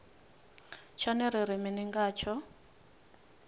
tshone ri ri mini ngatsho